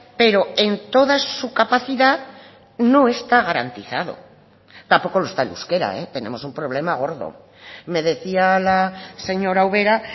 pero en toda su capacidad no está garantizado tampoco lo está el euskera tenemos un problema gordo me decía la señora ubera